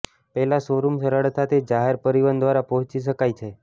પહેલાં શોરૂમ સરળતાથી જાહેર પરિવહન દ્વારા પહોંચી શકાય છે